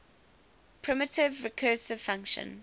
primitive recursive function